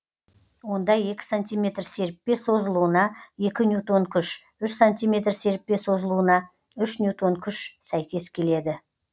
онда екі сантиметр серіппе созылуына екі ньютон күш үш сантиметр серіппе созылуына үш ньютон күш сәйкес келеді